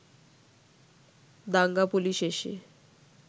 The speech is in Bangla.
দাঙ্গা পুলিশ এসে